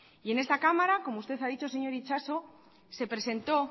y en esta cámara como usted ha dicho señor itxaso se presentó